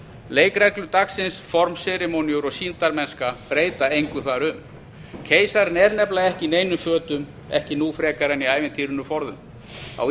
leikreglur dagsins formaður serimóníur og sýndarmennska breyta engu þar um keisarinn er nefnilega ekki í neinum fötum ekki nú frekar en í ævintýrinu forðum á